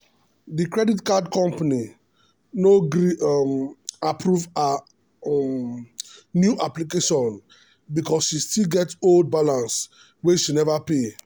the credit card company no gree um approve her um new um application because she still get old balance wey she never pay.